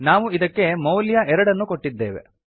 ನಾವು ಇದಕ್ಕೆ ಮೌಲ್ಯ ಎರಡನ್ನು ಕೊಟ್ಟಿದ್ದೇವೆ